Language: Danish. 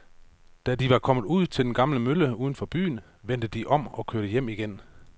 Da de var kommet ud til den gamle mølle uden for byen, vendte de om og kørte hjem igen.